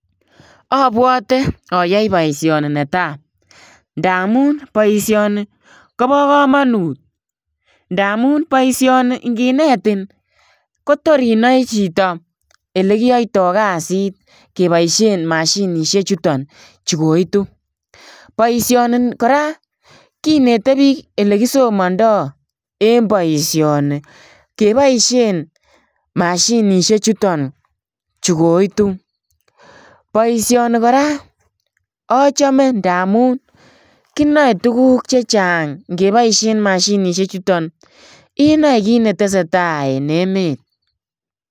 Abwate ayae boisioni be tai ndamuun boisioni koba kamanuut ndamuun boisioni inginetiin Kotor inae chitoo, ele kiyaitaa kassit kebaisheen mashinisheek chutoon chuko koituu, boisioni kora kinete biik ele kisomandaa en boisioni kebaisheen mashinisheek chutoon chu koituu, boisioni kora achame ndamuun kinae tuguuk chechaang ingebaisheen mashinisheek chutoon inae kiit ne tesetai en emet.